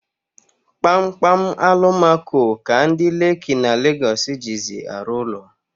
Kpamkpam alumako ka ndi Leki na Legosi jizi arụ ụlọ